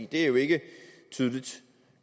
det er jo ikke tydeligt